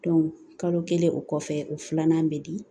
kalo kelen o kɔfɛ o filanan bɛ di